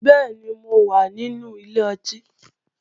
Bẹ́ẹ̀ni, mo wà nínú ilé ọtí